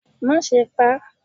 ma sé pá